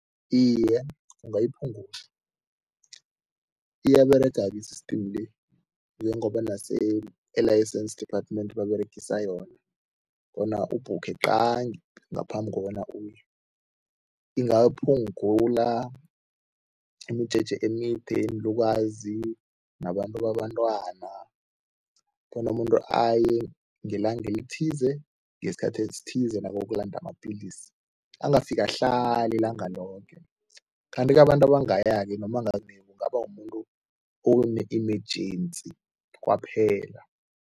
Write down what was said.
Iye, kungayiphungula. Iyaberega-ke i-system le njengoba nase e-licence department baberegise yona bona ubhukhe qangi ngaphambi kobana uye. Ingawaphungula imijeje emide, iinlukazi nabantu babantwana bona umuntu aye ngelanga elithize, ngesikhathi esithize nabokulanda amapilisi angafiki ahlale ilanga loke kanti-ke abantu abangaya-ke noma kungaba mumuntu one-emergency kwaphela.